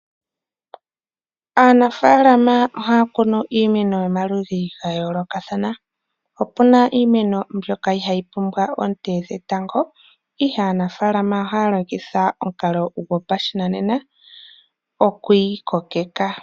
Aanafaalama ohaya kunu iimeno yomaludhi ga yoolokathana . Opuna iimeno mbyoka ihayi pumbiwa oonte dhetango ihe aanafaalama ohaya longitha omukalo gopashinanena oku yi kokeka.